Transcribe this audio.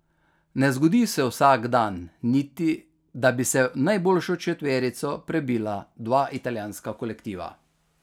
Ne zgodi se vsak dan niti, da bi se v najboljšo četverico prebila dva italijanska kolektiva.